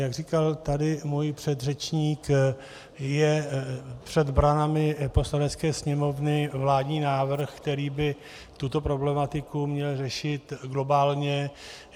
Jak říkal tady můj předřečník, je před branami Poslanecké sněmovny vládní návrh, který by tuto problematiku měl řešit globálně.